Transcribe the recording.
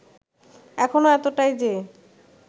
এখনও এতটাই যে